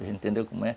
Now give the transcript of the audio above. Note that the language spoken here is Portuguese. Você entendeu como é?